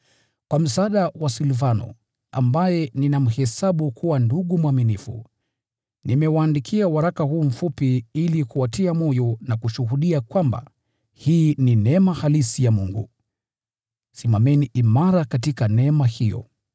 Kwa msaada wa Silvano, ambaye ninamhesabu kuwa ndugu mwaminifu, nimewaandikia waraka huu mfupi ili kuwatia moyo, na kushuhudia kwamba hii ni neema halisi ya Mungu. Simameni imara katika neema hiyo.